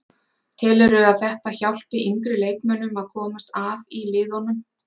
Telurðu að þetta hjálpi yngri leikmönnum að komast að í liðunum?